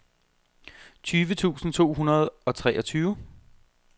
tyve tusind to hundrede og treogtyve